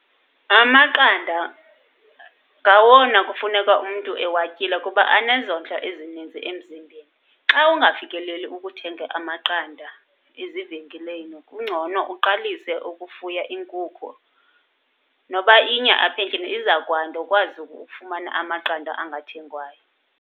Amaqanda ngawona kufuneka umntu ewatyile kuba anezondlo ezininzi emzimbeni. Xa ungafikeleli ukuthenga amaqanda ezivenkileni kungcono uqalise ukufuya iinkukhu noba inye apha endlini, izakwanda ukwazi ukufumana amaqanda anga athengwayo.